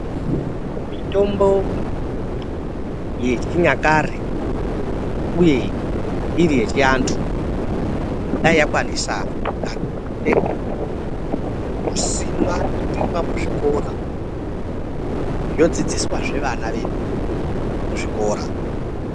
Mitombo yechinyakare uye iri yechianthu kudai yakwanisa kusimwa nekurimwa muzvikora zvodzidziswahe vana vedu muzvikora.